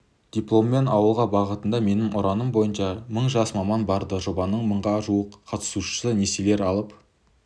дипломмен ауылға бағытында менің ұраным бойынша мың жас маман барды жобаның мыңға жуық қатысушысы несиелер алып